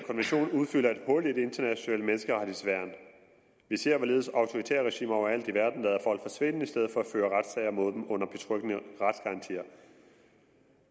udfylder et hul i det internationale menneskerettighedsværn vi ser hvorledes autoritære regimer overalt i verden lader folk forsvinde i stedet for at føre retssager mod dem under betryggende retsgarantier